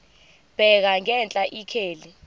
bheka ngenhla ikheli